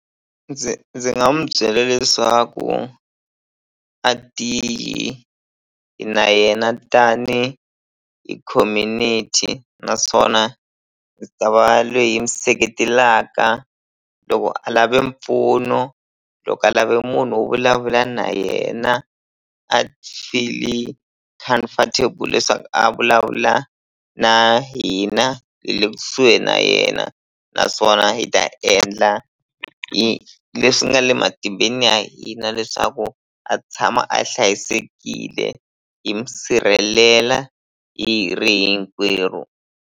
Ndzi ndzi nga mu byela leswaku a ti na yena tani hi community naswona hi ta va lweyi hi mi seketelaka loko a lave mpfuno loko a lave munhu wo vulavula na yena a feel-i comfortable leswaku a vulavula na hina hi le kusuhi na yena naswona hi ta endla hi leswi nga le matimbeni ya hina leswaku a tshama a hlayisekile hi mi sirhelela hi ri hinkwerhu.